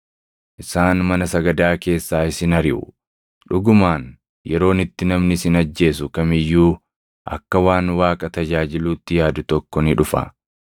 Isaan mana sagadaa keessaa isin ariʼu; dhugumaan yeroon itti namni isin ajjeesu kam iyyuu akka waan Waaqa tajaajiluutti yaadu tokko ni dhufa.